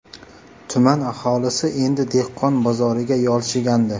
Tuman aholisi endi dehqon bozoriga yolchigandi.